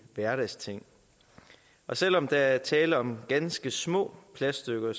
hverdagsting selv om der er tale om ganske små plaststykker